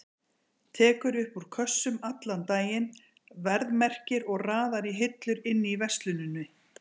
Tekur upp úr kössum allan daginn, verðmerkir og raðar í hillur inni í versluninni.